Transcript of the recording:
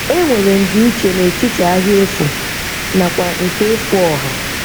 E nwere ndiiche netiti ahịa efu nakwa nke efu ọha.